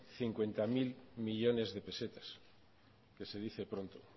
cincuenta mil millónes de pesetas que se dice pronto